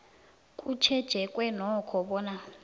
kutjhejweke nokho bona